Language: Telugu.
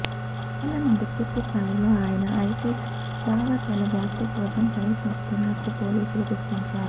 రెండేళ్ళ నుండి పూర్తిస్థాయిలో ఆయన ఐసిస్ భావజాలవ్యాప్తికోసం ప్రయత్నిస్తున్నట్టు పోలీసులు గుర్తించారు